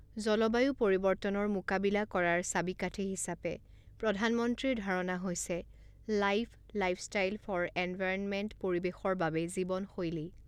জলবায়ু পৰিৱৰ্তনৰ মোকাবিলা কৰাৰ চাবিকাঠি হিচাপে প্ৰধানমন্ত্ৰীৰ ধাৰণা হৈছে লাইফ লাইফষ্টাইল ফৰ এনভাইৰণমেণ্ট পৰিৱেশৰ বাবে জীৱনশৈলী